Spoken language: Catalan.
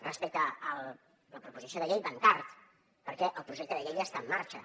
respecte a la proposició de llei van tard perquè el projecte de llei ja està en marxa